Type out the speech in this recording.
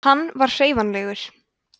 hann var hreyfanlegur